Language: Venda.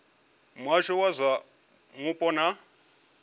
muhasho wa zwa mupo na